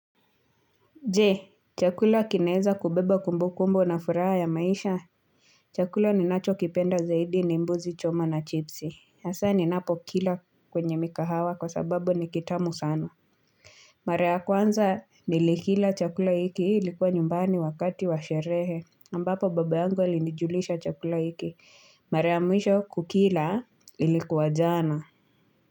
Je chakula kinaeza kubeba kumbu kumbu na furaha ya maisha chakula ninacho kipenda zaidi ni mbuzi choma na chipsi hasaa ni napo kila kwenye mikahawa kwa sababu ni kitamu sana Mara kwanza nilikila chakula hiki ilikuwa nyumbani wakati wa sherehe ambapo baba yangu alinijulisha chakula hiki Mara ya mwisho kukila ilikuwa jana.